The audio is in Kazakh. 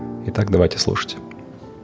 и так давайте слушать